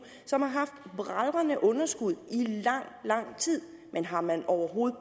som har haft bragende underskud i lang lang tid men har man overhovedet